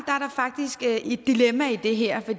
faktisk er et dilemma i det her